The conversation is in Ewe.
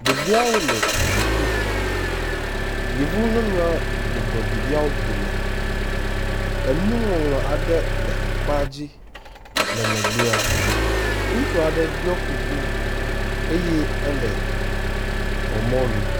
ɖeviawo nɔ sukuxɔme yevu nyɔnuɔ bɔblɔnɔ ɖeviawo dome enu ŋɔŋlɔ aɖe le akpa dzi le megbɛa ŋutsuaɖe ɖiɔ kuku ye éle xɔ mɔnu